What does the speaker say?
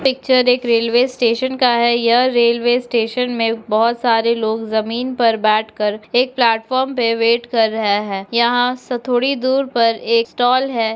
Picture एक railway station का है यह रेलवे स्टेशन में बहोत सारे लोग जमीन पर बैठकर एक प्लेटफार्म पे वेट कर रहे हैं यहाँ से थोड़ी दूर पर एक स्टॉल है।